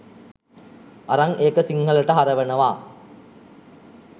අරං ඒක සිංහලට හරවනවා.